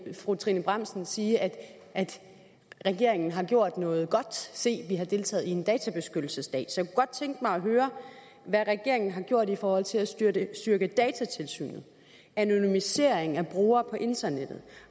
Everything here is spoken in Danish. fru trine bramsen sige at regeringen har gjort noget godt se vi har deltaget i en databeskyttelsesdag så godt tænke mig at høre hvad regeringen har gjort i forhold til at styrke styrke datatilsynet anonymisering af brugere på internettet